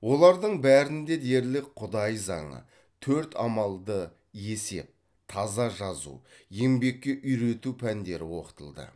олардың бәрінде дерлік құдай заңы төрт амалды есеп таза жазу еңбекке үйрету пәндері оқытылды